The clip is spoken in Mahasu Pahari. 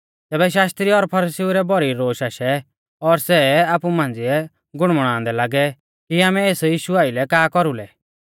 तैबै शास्त्री और फरीसीउ रै भौरी रोश आशै और सै आपु मांझ़िऐ गुणमुणादै लागै कि आमै एस यीशु आइलै का कौरुलै